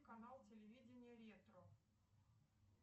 канал телевидения ретро